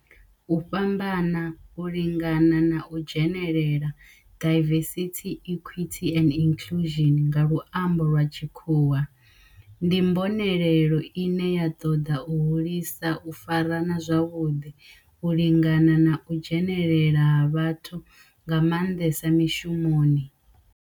U fhambana, u lingana na u dzhenelela diversity, equity and inclusion nga lwambo lwa tshikhuwa ndi mbonelelo ine ya ṱoḓa u hulisa u farana zwavhudi, u lingana na u dzhenelela ha vhathu nga manḓesa mishumoni.